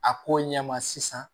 A ko ɲɛ ma sisan